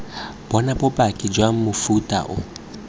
bona bopaki jwa mofuta oo